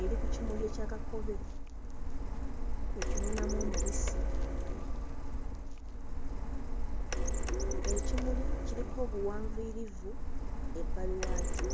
eri ku kimuli ekya kakobe ekinuunamu omubisi. Ekimuli kiriko obuwanvuyirivu ebbali waakyo.